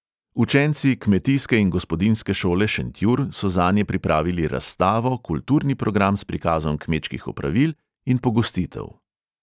Učenci kmetijske in gospodinjske šole šentjur so zanje pripravili razstavo, kulturni program s prikazom kmečkih opravil in pogostitev.